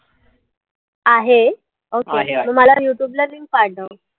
आहे okay मग मला youtube ला link पाठव.